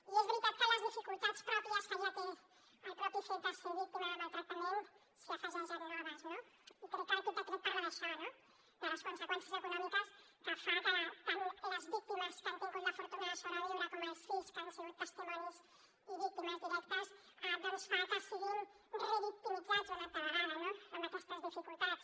i és veritat que a les dificultats pròpies que ja té el mateix fet de ser víctima de maltractament se n’hi afegeixen de noves no crec que aquest decret parla d’això no de les conseqüències econòmiques que fan que tant les víctimes que han tingut la fortuna de sobreviure com els fills que han sigut testimonis i víctimes directes doncs fan que siguin revictimitzats una altra vegada amb aquestes dificultats